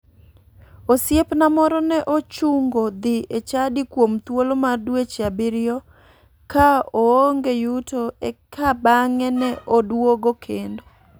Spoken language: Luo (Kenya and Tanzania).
Osiepna moro ne ochungo dhi e chadi kuom thuolo mar dweche abiriyo ka oonge yuto eka bang'e ne oduogo kendo.